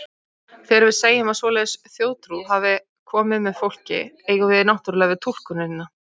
Þegar við segjum að svoleiðis þjóðtrú hafi komið með fólki, eigum við náttúrlega við túlkunina.